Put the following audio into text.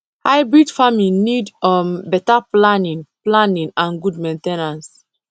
hybrid farming need um better planning planning and good main ten ance